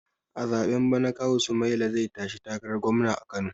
A zaɓen bana kawu sumaila zai tashi takarar gwamna a kano